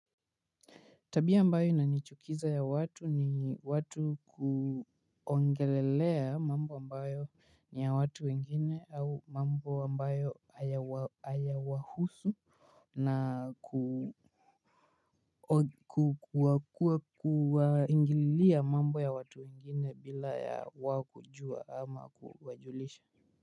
Tabia ambayo inanichukiza ya watu ni watu kuongelelea mambo ambayo ni ya watu wengine au mambo ambayo hayawahusu na kuwaingililia mambo ya watu wengine bila ya wao kujua ama kuwajulisha.